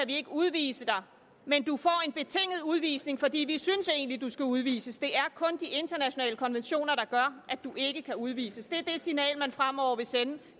vi ikke udvise dig men du får en betinget udvisning fordi vi egentlig synes at du skal udvises det er kun de internationale konventioner der gør at du ikke kan udvises det er det signal man fremover vil sende